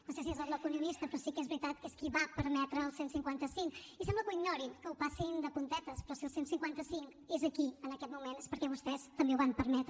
no sé si és del bloc unionista però sí que és veritat que és qui va permetre el cent i cinquanta cinc i sembla que ho ignorin que hi passin de puntetes però si el cent i cinquanta cinc és aquí en aquest moment és perquè vostès també ho van permetre